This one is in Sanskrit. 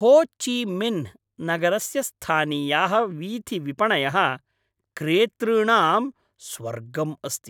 हो चि मिन्ह् नगरस्य स्थानीयाः वीथिविपणयः क्रेतृणां स्वर्गम् अस्ति।